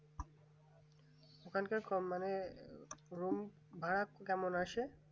ওখানকার কল্যাণে room ভাড়া কেমন আছে